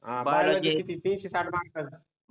हम्म बियॉलॉजि मध्ये तीनशे साठ मार्क